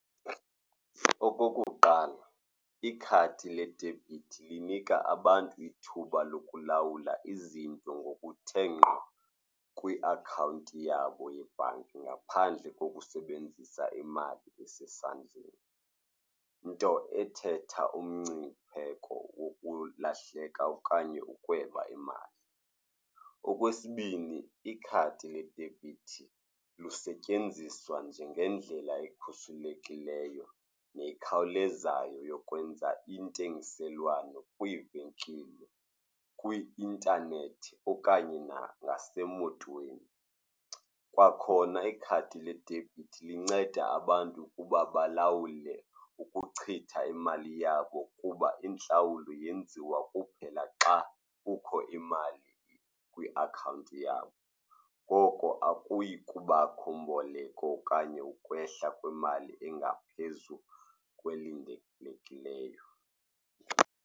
Okokuqala, ikhadi ledebhithi linika abantu ithuba lokulawula izinto ngokuthe ngqo kwiakhawunti yabo yebhanki ngaphandle kokusebenzisa imali esesandleni, nto ethetha umngcipheko wokulahleka okanye ukweba imali. Okwesibini, ikhadi ledebhithi lisetyenziswa njengendlela ekhuselekileyo nekhawulezayo yokwenza intengiselwano kwiivenkile, kwi-intanethi okanye nangasemotweni. Kwakhona ikhadi ledebhithi linceda abantu ukuba balawule ukuchitha imali yabo kuba intlawulo yenziwa kuphela xa kukho imali kwiakhawunti yakho. Ngoko akuyi kubakho mboleko okanye ukwehla kwemali engaphezulu kwelindelekileyo.